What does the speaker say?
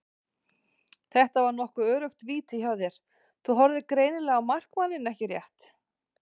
Þetta var nokkuð öruggt víti hjá þér, þú horfðir greinilega á markmanninn ekki rétt?